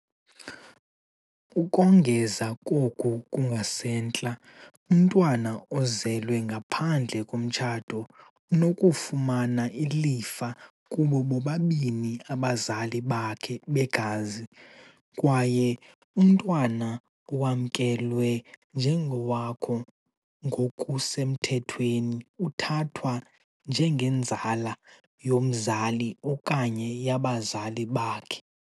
Ukongeza koku kungasentla, umntwana ozelwe ngaphandle komtshato unokufumana ilifa kubo bobabini abazali bakhe begazi, kwaye umntwana owamkelwe njengowakho ngokusemthethweni uthathwa njengenzala yomzali okanye yabazali bakhe.